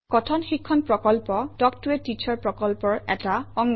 কথন শিক্ষণ প্ৰকল্প তাল্ক ত a টিচাৰ প্ৰকল্পৰ এটা অংগ